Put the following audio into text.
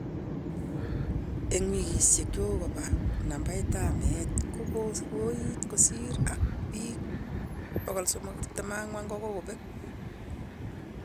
Eng wikishek chekokopa, nabait ap meet kokowoit kosir ,ak pik 324 kokopek